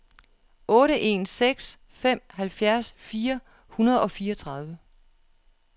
otte en seks fem halvfjerds fire hundrede og fireogtredive